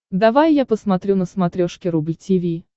давай я посмотрю на смотрешке рубль ти ви